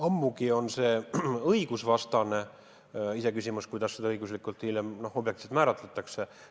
Ammugi ei ole see õiguspärane, iseküsimus on, kuidas seda hiljem õiguslikult objektiivselt määratletakse.